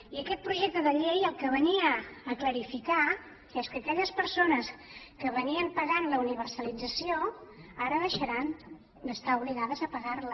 i aquest projecte de llei el que venia a clarificar és que aquelles persones que pagaven la universalització ara deixaran d’estar obligades a pagarla